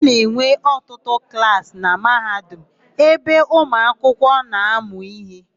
A na-enwe ọtụtụ klaasị na Mahadum ebe ụmụakwụkwọ na-amụ íhé.